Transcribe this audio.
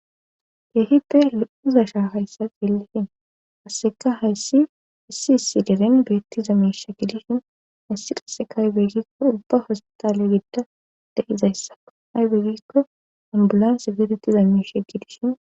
Geehipe he'uzashaa hayssa ceelihin hasseka hayssi issi issi deren beettiza miisha gidishin hayssi qasseka aybeegikko ubba hositale gida de'izayssako aybeegikko ambulan sifirettiza mishe gidishin